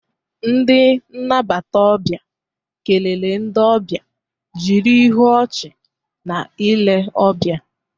Ndi nnabata obia kelere ndị ọbịa jiri ihu ọchị na ile ọbịa